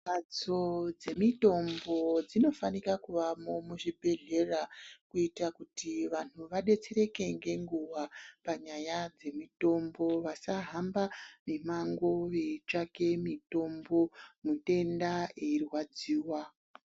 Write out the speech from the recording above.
Mbatso dzemitombo dzinofanika kuvamo muzvibhedhlera kuita kuti vantu vabetsereke ngenguwa panyaya dzemitombo. Vasahamba mimango veitsvake mitombo mutenda eirwadziwa.